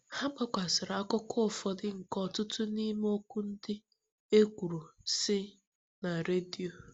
Ha gbasakwara akụkọ ụfọdụ nke ọtụtụ n’ime okwu ndị e kwuru, si *na redio.